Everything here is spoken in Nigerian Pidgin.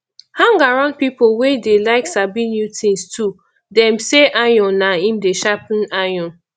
hang around pipo wey dey like sabi new things too dem sey iron na im dey sharpen iron